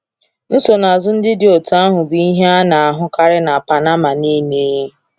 Nsonaazụ ndị dị otú ahụ bụ ihe a na-ahụkarị na Panama niile.